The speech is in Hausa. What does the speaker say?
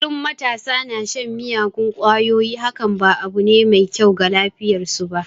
Kullum matasa na shan miyagun kwayoyi hakan ba abu ne mai kyau ga lafiyar su ba.